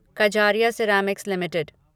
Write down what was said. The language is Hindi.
Kajaria Ceramics limited